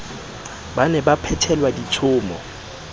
ba ne ba phethelwa ditshomo